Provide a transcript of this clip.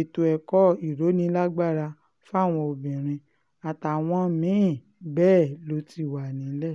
ètò ẹ̀kọ́ ìrónílágbára fáwọn obìnrin àtàwọn mí-ín bẹ́ẹ̀ ló ti wà nílẹ̀